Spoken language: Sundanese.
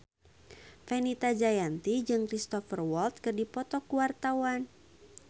Fenita Jayanti jeung Cristhoper Waltz keur dipoto ku wartawan